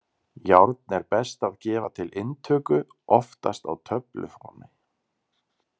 Járn er best að gefa til inntöku, oftast á töfluformi.